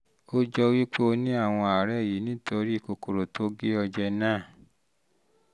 ó jọ wí pé o ní àwọn àwọn àárẹ̀ yìí nítorí kòkòrò tó gé ọ jẹ náà